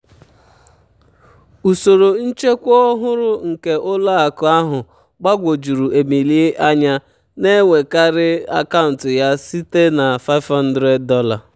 usoro nchekwa ọhụrụ nke ụlọ akụ ahụ gbagwojuru emily anya na-ewerekarị akaụntụ ya site na $500.